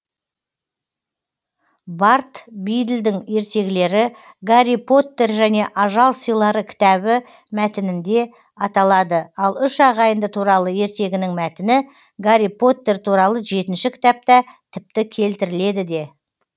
бард биділдің ертегілері гарри поттер және ажал сыйлары кітабы мәтінінде аталады ал үш ағайынды туралы ертегінің мәтіні гарри поттер туралы жетінші кітапта тіпті келтіріледі де